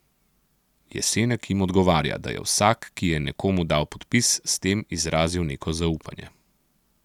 Jesenek jim odgovarja, da je vsak, ki je nekomu dal podpis, s tem izrazil neko zaupanje.